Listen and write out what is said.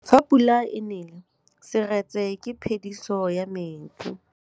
Fa pula e nelê serêtsê ke phêdisô ya metsi.